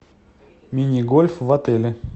мини гольф в отеле